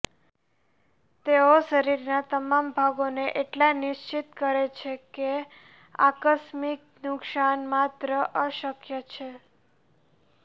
તેઓ શરીરના તમામ ભાગોને એટલા નિશ્ચિત કરે છે કે આકસ્મિક નુકસાન માત્ર અશક્ય છે